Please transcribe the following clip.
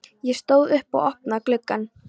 Ég stóð upp og opnaði gluggann.